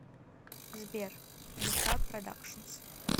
сбер люка продакшнс